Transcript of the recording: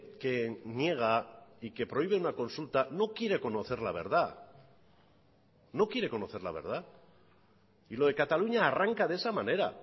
que niega y que prohíbe una consulta no quiere conocer la verdad no quiere conocer la verdad y lo de cataluña arranca de esa manera